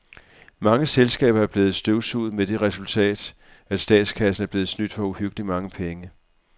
Mange selskaber er blevet støvsuget med det resultat, at statskassen er blevet snydt for uhyggeligt mange penge.